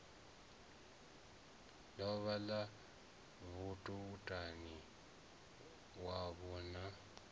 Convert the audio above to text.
ḽavho ḽa vhamutani wavho na